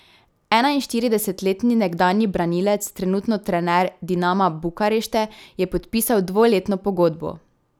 Enainštiridesetletni nekdanji branilec, trenutno trener Dinama Bukarešte, je podpisal dvoletno pogodbo.